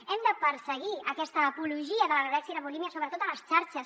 hem de perseguir aquesta apologia de l’anorèxia i la bulímia sobretot a les xarxes